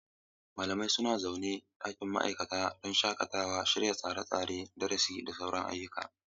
Malamai suna zaune a ɗakin ma'aikata don shakatawa, shirya tsare-tsaren darasi, da sauran ayyuka.